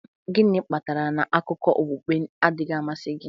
Gịnị kpatara na akụkọ okpukpe adịghị amasị gị?